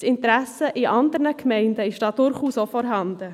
das Interesse in anderen Gemeinden ist da durchaus vorhanden.